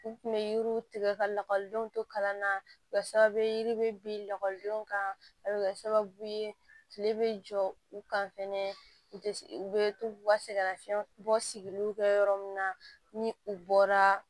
U tun bɛ yiriw tigɛ ka lakɔlidenw to kalan na kɛ sababu ye yiri bɛ bin lakɔlidenw kan a bɛ kɛ sababu ye kile bɛ jɔ u kan fɛnɛ u tɛ u bɛ to ka sɛgɛnnafiɲɛbɔ sigiliw kɛ yɔrɔ min na ni u bɔra